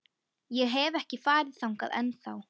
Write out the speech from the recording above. Ég hef ekki farið þangað ennþá.